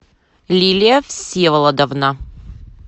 лилия всеволодовна